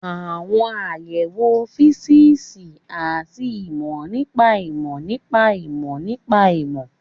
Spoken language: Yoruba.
Àwọn àyẹ̀wò físíìsì àti ìmọ̀ nípa ìmọ̀ nípa ìmọ̀ nípa ìmọ̀